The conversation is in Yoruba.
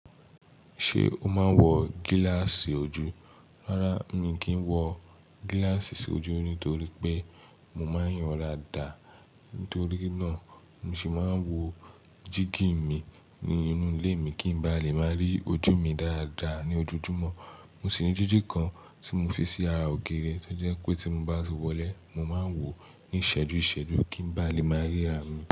Ṣé o máa ń wọ gíláàsì ojú? Rárá, mi kì í wọ gíláàsì s'ójú nítorí pé mo máa ń ríran dáadáa. Nítorí náà, mo sì máa ń wo jígí mi ní inú ilé mi kí n bá lè máa rí ojú mi dáadáa ní ojojúmọ́. Mo sì ní jíjì kan tí mo fi sí ara ògiri tó jẹ́ pé tí mo bá wọlé, mo máa ń wò ó ní ìṣẹ́jú ìṣẹ́jú kí n bá lè máa ríra mi.